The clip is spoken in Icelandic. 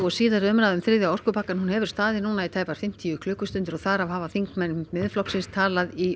síðari umræða um þriðja orkupakkann hefur staðið hér í tæpar fimmtíu klukkustundir og þar af hafa þingmenn Miðflokksins talað í